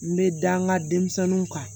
N bɛ da n ka denmisɛnninw kan